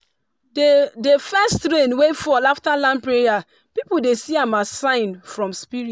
the the first rain wey fall after land prayer people dey see am as sign from spirit.